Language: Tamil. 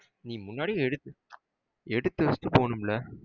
நீ முன்னாடியே எடுத்து எடுத்து வச்சிட்டு போகனும்லா?